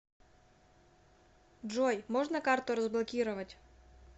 джой можно карту разблокировать